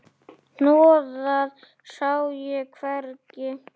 Hnoðað sá ég hvergi.